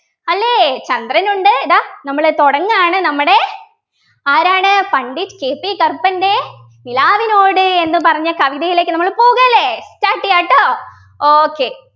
അല്ലെ ചന്ദ്രനുണ്ട് ഇതാ നമ്മൾ തുടങ്ങാണ് നമ്മുടെ ആരാണ് പണ്ഡിറ്റ് KP കറുപ്പൻ്റെ നിലാവിനോട് എന്ന് പറഞ്ഞ കവിതയിലേക്ക് നമ്മൾ പോകല്ലേ Start ചെയ്യാട്ടോ okay